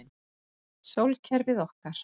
Sólkerfið okkar.